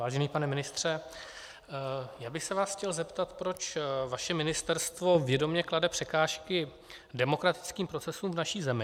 Vážený pane ministře, já bych se vás chtěl zeptat, proč vaše ministerstvo vědomě klade překážky demokratickým procesům v naší zemi.